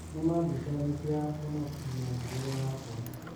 Nĩmaa mbica nĩciahonokirie mũtũrĩre wakwa.